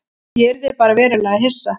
Ég yrði bara verulega hissa.